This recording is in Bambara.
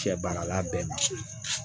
Cɛ baara la bɛɛ ma se